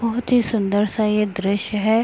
बहुत ही सुंदर सा ये दृश्य है|